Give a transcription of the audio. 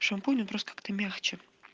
шампунь он просто как-то мягче